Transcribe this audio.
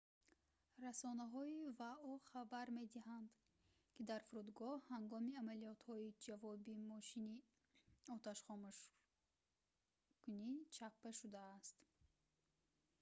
расонаҳои вао хабар медиҳанд ки дар фурудгоҳ ҳангоми амалиётҳои ҷавобӣ мошини оташхомӯшкунӣ чаппа шудааст